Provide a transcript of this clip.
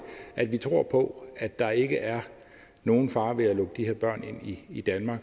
tror vi på at der ikke er nogen fare ved at lukke de her børn ind i danmark